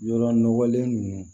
Yɔrɔ nɔgɔlen ninnu